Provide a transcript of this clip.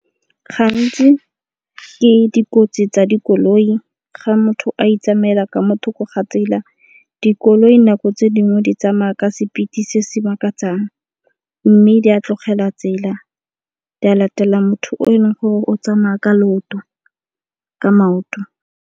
Gantsi ke dikotsi tsa dikoloi ga motho a itsamela ka mo thoko ga tsela. Dikoloi nako tse dingwe di tsamaya ka speed-e se se makatsang mme di a tlogela tsela di a latela motho o e leng gore o tsamaya ka maoto.